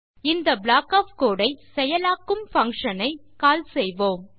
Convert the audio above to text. இந்த block of code ஐ செயலாக்கும் பங்ஷன் ஐ கால் செய்வோம்